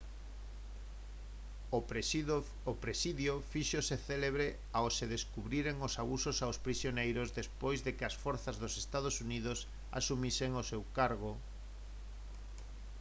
o presidio fíxose célebre ao se descubriren os abusos aos prisioneiros despois de que as forzas dos ee uu asumisen o seu cargo